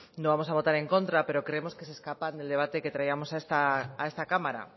no vamos a votar en contra pero creemos que se escapan del debate que traíamos a esta cámara